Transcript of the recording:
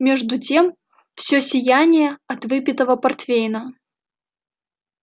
между тем всё сияние от выпитого портвейна